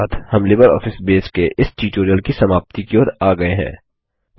इसी के साथ हम लिबरऑफिस बेस के इस ट्यूटोरियल की समाप्ति की ओर आ गये हैं